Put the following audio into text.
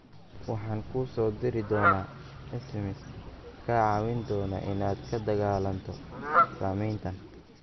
Waxaan kuu soo diri doonaa SMS kaa caawin doona inaad la dagaallanto saameyntan.